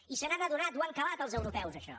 i se n’han adonat ho han calat els europeus això